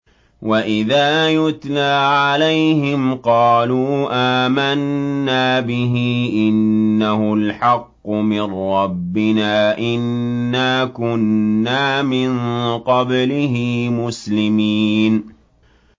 وَإِذَا يُتْلَىٰ عَلَيْهِمْ قَالُوا آمَنَّا بِهِ إِنَّهُ الْحَقُّ مِن رَّبِّنَا إِنَّا كُنَّا مِن قَبْلِهِ مُسْلِمِينَ